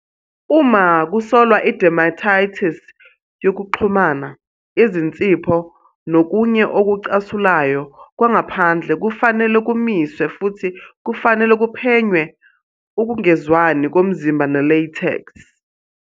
Uma kusolwa i-dermatitis yokuxhumana, izinsipho nokunye okucasulayo kwangaphandle kufanele kumiswe futhi kufanele kuphenywe ukungezwani komzimba ne-latex.